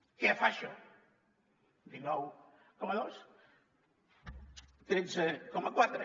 què fa això dinou coma dos tretze coma quatre